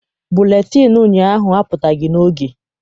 Buletịịnụ ụnyaahụ apụtaghị n'oge.